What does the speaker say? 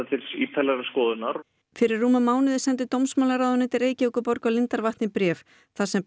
til ítarlegrar skoðunar fyrir rúmum mánuði sendi dómsmálaráðuneytið Reykjavíkurborg og lindarvatni bréf þar sem